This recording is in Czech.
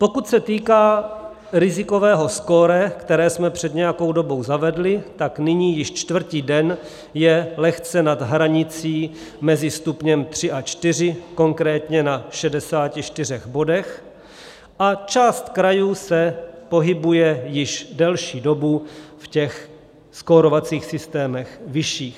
Pokud se týká rizikového skóre, které jsme před nějakou dobou zavedli, tak nyní již čtvrtý den je lehce nad hranicí mezi stupněm 3 a 4, konkrétně na 64 bodech, a část krajů se pohybuje již delší dobu v těch skórovacích systémech vyšších.